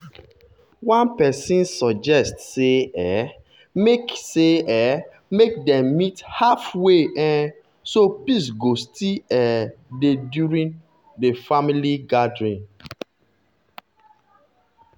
one person suggest say um make say um make dem meet halfway um so peace go still um dey during the family gathering.